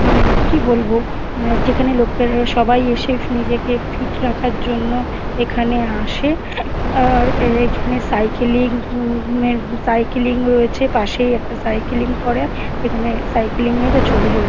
মানে কি বলবো মানে যেখানে লোকের সবাই এসে নিজেকে ফিট রাখার জন্য এখানে আসে আর এখানে সাইকেলিং উম সাইকেলিং রয়েছে পাশেই একটা সাইকেলিং করে এখানে সাইকেলিং -এর ওহ ছবি রয়ে-- ।